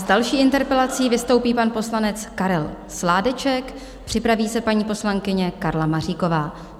S další interpelací vystoupí pan poslanec Karel Sládeček, připraví se paní poslankyně Karla Maříková.